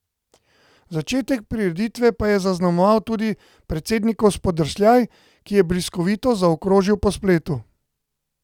Začetek prireditve pa je zaznamoval tudi predsednikov spodrsljaj, ki je bliskovito zaokrožil po spletu.